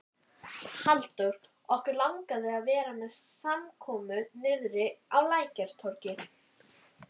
Halldór, okkur langar að vera með samkomu niðri á Lækjartorgi.